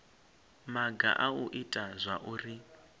maga a u ita zwauri